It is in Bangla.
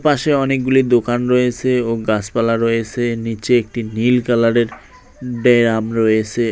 পাশে অনেকগুলি দোকান রয়েছে ও গাছপালা রয়েছে নীচে একটি নীল কালারের ডেয়াম রয়েছে।